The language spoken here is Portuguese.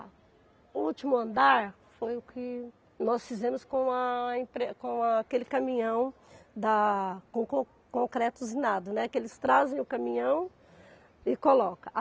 O último andar foi o que nós fizemos com a empre com aquele caminhão da com con concreto usinado, né, que eles trazem o caminhão e colocam.